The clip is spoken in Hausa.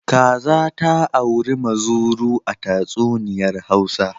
Kaza ta auri muzuru a tatsuniyar Hausawa.